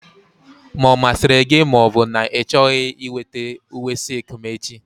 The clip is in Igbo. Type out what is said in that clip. Ma ọ masịrị gị ma ọ bụ na ị chọghị weta uwe silk m echi!